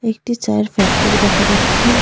একটি চায়ের ফ্যাক্টরি দেখা যাচ্ছে।